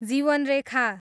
जीवनरेखा